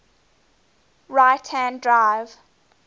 right hand drive